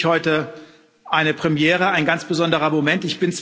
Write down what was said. Das ist für mich heute eine Premiere, ein ganz besonderer Moment.